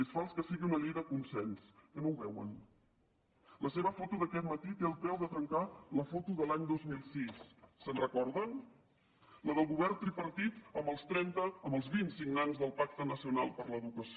és fals que sigui una llei de consens que no ho veuen la seva foto d’aquest matí té el preu de trencar la foto de l’any dos mil sis se’n recorden la del govern tripartit amb els vint signants del pacte nacional per a l’educació